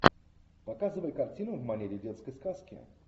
показывай картину в манере детской сказки